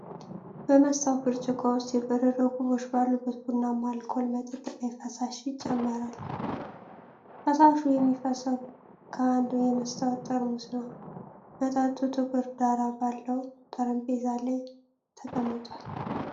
በመስታወት ብርጭቆ ውስጥ የበረዶ ኩቦች ባሉበት ቡናማ አልኮል መጠጥ ላይ ፈሳሽ ይጨመራል። ፈሳሹ የሚፈሰው ከአንድ የመስታወት ጠርሙስ ነው። መጠጡ ጥቁር ዳራ ባለው ጠረጴዛ ላይ ተቀምጧል።